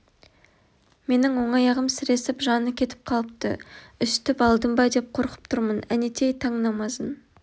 менің оң аяғым сіресіп жаны кетіп қалыпты үсітіп алдым ба деп қорқып тұрмын әнетей таң намазын